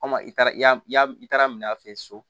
Komi i taara i taara minɛ a fɛ yen so